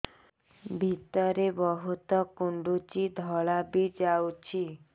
ଭିତରେ ବହୁତ କୁଣ୍ଡୁଚି ଧଳା ବି ଯାଉଛି